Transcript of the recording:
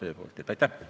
Aitäh!